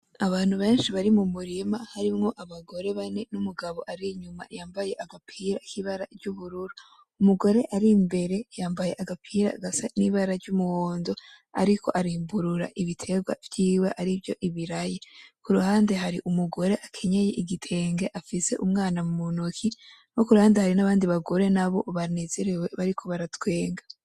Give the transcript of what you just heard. Abantu benshi bari mumurima harimwo abagore bane n'umugabo arinyuma yambaye agapira kibara ry'ubururu. Umugore arimbere yambaye agapira gasa ni bara ry'umuwondo ariko arimbura ibiterwa vyiwe arivyo ibiraya , kuruhande hari umugore akenyeye igitenge afise umwana muntoki no kurunhande hari nabandi bagore nabo banezerewe bariko bara twenga.